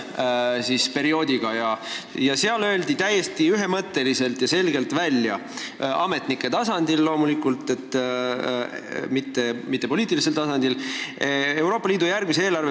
Ja seal öeldi Euroopa Liidu järgmist eelarveperioodi silmas pidades seoses Rail Balticuga täiesti ühemõtteliselt ja selgelt välja – ametnike tasandil loomulikult, mitte poliitilisel tasandil – kaks asja.